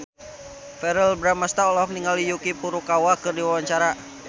Verrell Bramastra olohok ningali Yuki Furukawa keur diwawancara